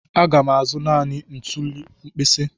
Aga m azụ naanị ntuli mkpisi.